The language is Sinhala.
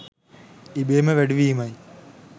ඉබේම වැඩි වීමයි.